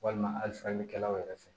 Walima halisalikɛlaw yɛrɛ fɛ